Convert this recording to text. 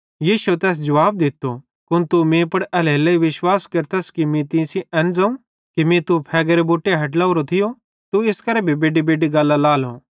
यीशुए तैस जुवाब दित्तो कुन तू मीं पुड़ एल्हेरेलेइ विश्वास केरतस कि मीं तीं सेइं एन ज़ोवं कि मीं तू फ़ेगेरे बुट्टे हैठ लावरो थियो तू इस करां भी बेड्डीबेड्डी गल्लां लाएलो